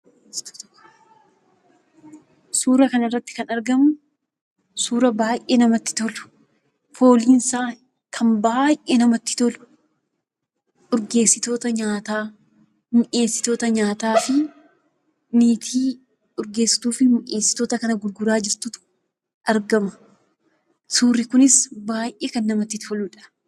Suuraa kana irratti kan argamu, suuraa baay'ee namatti tolu; fooliin isaa kan baay'ee namatti tolu, urgeessitoota nyaataa, mi'eessitoota nyaataa fi niitii mi'eessitootaa fi urgeessitoota kana gurguraa jirtutu argama. Suurri kunis baay'ee kan namatti toluudha.